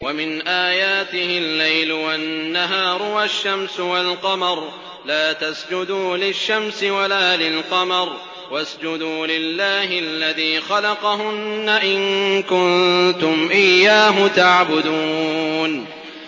وَمِنْ آيَاتِهِ اللَّيْلُ وَالنَّهَارُ وَالشَّمْسُ وَالْقَمَرُ ۚ لَا تَسْجُدُوا لِلشَّمْسِ وَلَا لِلْقَمَرِ وَاسْجُدُوا لِلَّهِ الَّذِي خَلَقَهُنَّ إِن كُنتُمْ إِيَّاهُ تَعْبُدُونَ